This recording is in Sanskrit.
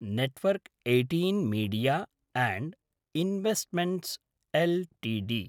network eighteen media and investments Ltd